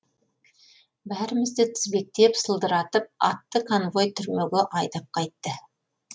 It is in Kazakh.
бәрімізді тізбектеп сылдыратып атты конвой түрмеге айдап қайтты